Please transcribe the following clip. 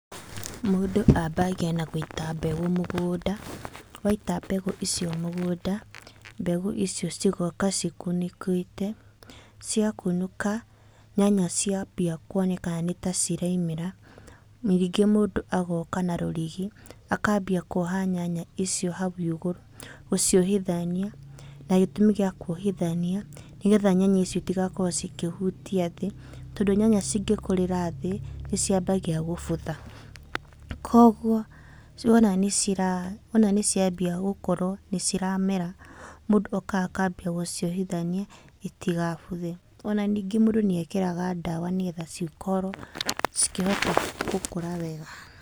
Mũndũ ambagia na gũĩta mbegũ mũgũnda, waita mbegũ ici mũgũnda mbegũ icio cigoka cikunũkĩte, cia kunũka nyanya ciambia kuonekana nĩ ta ciraumĩra ningĩ mũndũ agoka na rũrigi akambia kuoha nyanya icio hau igũrũ gũciũhithania na gĩtũmi gia kuohithania nĩgetha nyanya icio itigakorwo cikĩhutia thĩ, tondũ nyanya cingĩkũrĩra thĩ nĩciambagia gũbutha. Koguo wona nĩ ciambia gũkorwo nĩciramera mũndũ okaga akambia gũciohithania itigabuthe. Ona ningĩ mũndũ nĩ ekĩraga ndawa nĩgetha cikorwo cikĩhota gũkũra wega.